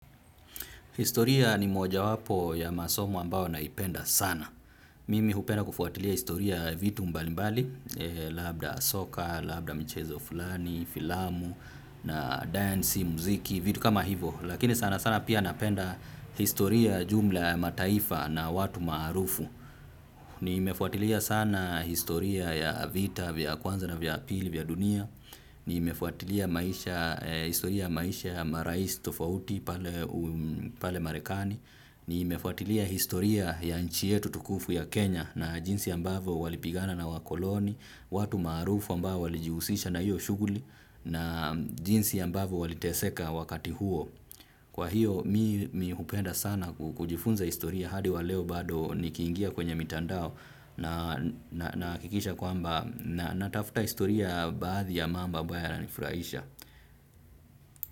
Historia ni mojawapo ya masomo ambao naipenda sana. Mimi hupenda kufuatilia historia ya vitu mbalimbali, labda soka, labda mchezo fulani, filamu, na dance, muziki, vitu kama hivo. Lakini sana sana pia napenda historia ya jumla ya mataifa na watu maarufu. Nimefuatilia sana historia ya vita vya kwanza na vya pili vya dunia. Nimefuatilia historia ya maisha ya marais tofauti pale marekani. Nimefuatilia historia ya nchi yetu tukufu ya Kenya na jinsi ambavo walipigana na wakoloni. Watu maarufu ambao walijihusisha na hiyo shughuli na jinsi ambavo waliteseka wakati huo. Kwa hiyo mimi hupenda sana kujifunza historia hadi wa leo bado nikiingia kwenye mitandao na nahakikisha kwamba natafuta historia baadhi ya mambo ambayo yananifuraisha.